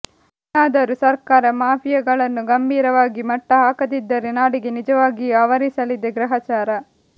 ಇನ್ನಾದರೂ ಸರ್ಕಾರ ಮಾಫಿಯಾಗಳನ್ನು ಗಂಭೀರ ವಾಗಿ ಮಟ್ಟ ಹಾಕದಿದ್ದರೆ ನಾಡಿಗೆ ನಿಜವಾಗಿಯೂ ಆವರಿಸಲಿದೆ ಗ್ರಹಚಾರ